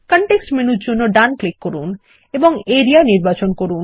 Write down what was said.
context মেনুর জন্য ডান ক্লিক করুন এবং আরিয়া নির্বাচন করুন